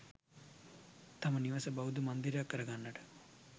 තම නිවස බෞද්ධ මන්දිරයක් කර ගන්නට